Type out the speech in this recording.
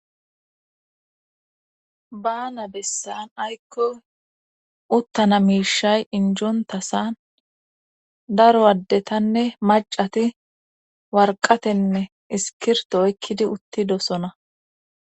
Baana bessan aykko uttana miishay injonta san daro addetanne macati warqatenne iskirto oykkidi uttidosona.